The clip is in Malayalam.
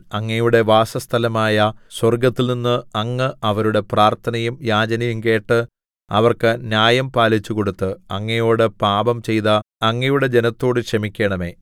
അങ്ങയുടെ വാസസ്ഥലമായ സ്വർഗ്ഗത്തിൽനിന്ന് അങ്ങ് അവരുടെ പ്രാർത്ഥനയും യാചനകളും കേട്ട് അവർക്ക് ന്യായം പാലിച്ചുകൊടുത്ത് അങ്ങയോട് പാപം ചെയ്ത അങ്ങയുടെ ജനത്തോട് ക്ഷമിക്കേണമേ